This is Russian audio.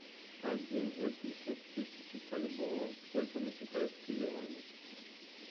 один восемьсот тысяч бальбоа сколько на китайские юани